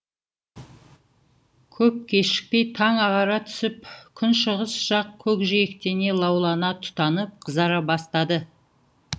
көп кешікпей таң ағара түсіп күншығыс жақ көкжиектене лаулана тұтанып қызара бастады